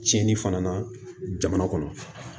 Cɛnnin fana na jamana kɔnɔ